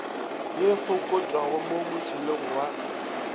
ye fokotšwago mo motšhelong wa